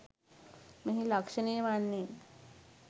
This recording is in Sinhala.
මෙහි ලක්‍ෂණය වන්නේ